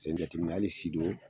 Sen jateminɛ hali Sido